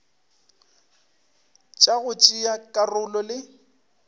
tša go tšea karolo le